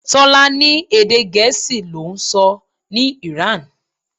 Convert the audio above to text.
Tọ́lá ní Èdè Gèésì l'oun ń sọ ní Iran.